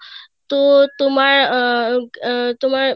তো তোমার উম আহ তোমার